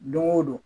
Don o don